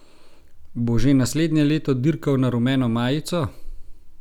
Bo že naslednje leto dirkal na rumeno majico?